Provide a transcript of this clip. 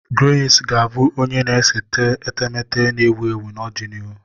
Grace ga-abụ onye na-ese etemeete na-ewu ewu n'ọdịnihu.